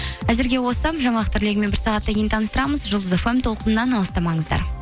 әзірге осы жаңалықтар легімен бір сағаттан кейін таныстырамыз жұлдыз фм толқынынан алыстамаңыздар